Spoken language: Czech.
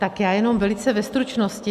Tak já jenom velice ve stručnosti.